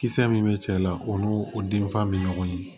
Kisɛ min bɛ cɛ la o n'o den fa bɛ ɲɔgɔn ye